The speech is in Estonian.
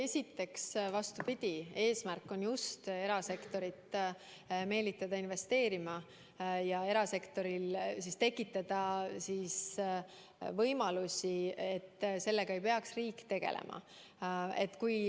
Esiteks, vastupidi, eesmärk on just erasektorit meelitada investeerima ja tekitada võimalusi, et sellega ei peaks riik tegelema.